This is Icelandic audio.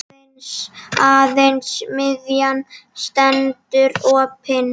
Aðeins miðjan stendur opin.